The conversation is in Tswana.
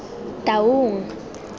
taung